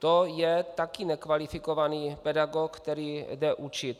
To je taky nekvalifikovaný pedagog, který jde učit.